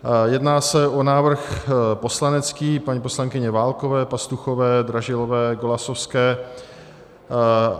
Jedná se o návrh poslanecký paní poslankyně Válkové, Pastuchové, Dražilové, Golasowské.